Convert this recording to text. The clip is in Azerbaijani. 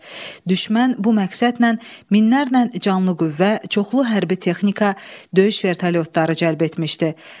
Düşmən bu məqsədlə minlərlə canlı qüvvə, çoxlu hərbi texnika, döyüş vertolyotları cəlb etmişdi.